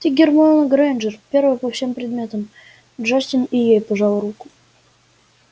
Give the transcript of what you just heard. ты гермиона грэйнджер первая по всем предметам джастин и ей пожал руку